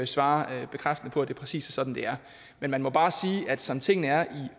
svare bekræftende på om det er præcis sådan det er men man må bare sige at som tingene er i